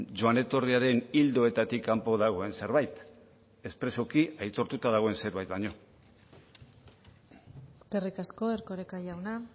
joan etorriaren ildoetatik kanpo dagoen zerbait espresuki aitortuta dagoen zerbait baino eskerrik asko erkoreka jauna